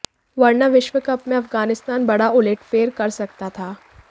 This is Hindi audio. वरना विश्व कप में अफगानिस्तान बड़ा उलटफेर कर सकता था